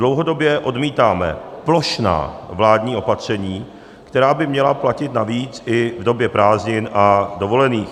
Dlouhodobě odmítáme plošná vládní opatření, která by měla platit navíc i v době prázdnin a dovolených.